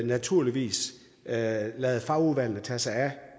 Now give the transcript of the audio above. naturligvis lader lader fagudvalget tage sig af